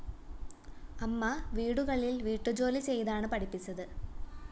അമ്മ വീടുകളില്‍ വീട്ടുജോലി ചെയ്താണ് പഠിപ്പിച്ചത്